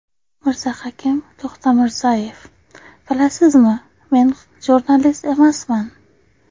Mirzahakim To‘xtamirzayev: Bilasizmi, men jurnalist emasman.